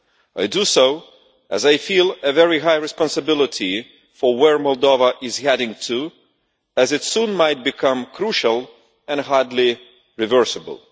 I do so, as I feel very high responsibility for where Moldova is heading to, as it soon might become crucial and hardly reversible.